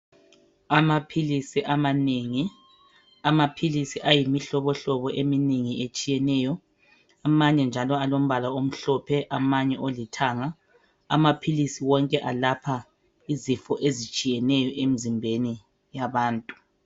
Amaphilisi amanengi. Amaphilisi ayimihlobohlobo eminengi etshiyeneyo. Amanye njalo alombala omhlophe amanye olithanga. Amaphilisi wonke alapha izifo ezitshiyeneyo emzimbeni yabantu.